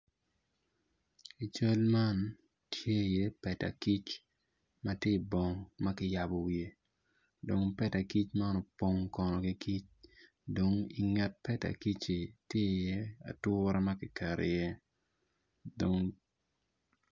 I cal man tye iye peda kic ma tye i bong ma kiyabo wiye dong peda kic man opong ki kic dong i nge peda kicci tye iye ature ma kiketo iye dong.